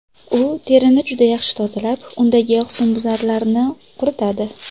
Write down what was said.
U terini juda yaxshi tozalab, undagi husnbuzarlarni quritadi.